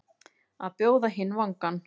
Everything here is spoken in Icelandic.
Að bjóða hinn vangann